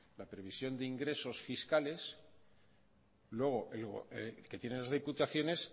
la provisión de ingresos fiscales que tienen las diputaciones